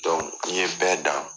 n'i ye bɛɛ dan.